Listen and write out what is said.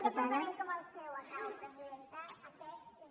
departament com el seu acabo presidenta aquest és